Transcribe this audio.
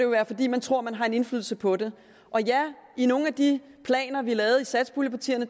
være fordi man tror at man har en indflydelse på det og ja i nogle af de planer vi lavede i satspuljepartierne